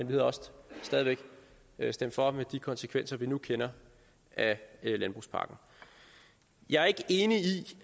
ville også stadig væk have stemt for med de konsekvenser vi nu kender af landbrugspakken jeg er ikke enig i